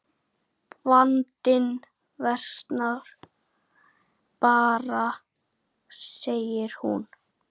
Jens hefur lög að mæla.